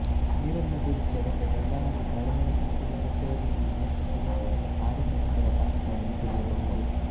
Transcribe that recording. ನೀರನ್ನು ಕುದಿಸಿ ಅದಕ್ಕೆ ಬೆಲ್ಲ ಹಾಗೂ ಕಾಳುಮೆಣಸಿನ ಪುಡಿಯನ್ನು ಸೇರಿಸಿ ಇನ್ನಷ್ಟು ಕುದಿಸಿ ಆರಿದ ನಂತರ ಪಾನಕವನ್ನು ಕುಡಿಯಬಹುದು